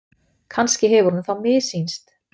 Kannski hefur honum þá missýnst.